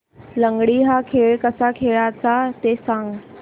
लंगडी हा खेळ कसा खेळाचा ते सांग